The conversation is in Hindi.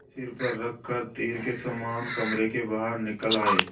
सिर पर रख कर तीर के समान कमरे के बाहर निकल आये